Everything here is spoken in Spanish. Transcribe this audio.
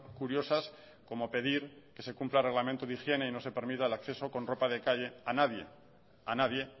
curiosas como pedir que se cumpla el reglamento de higiene y no se permita el acceso con ropa de calle a nadie a nadie